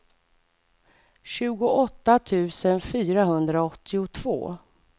tjugoåtta tusen fyrahundraåttiotvå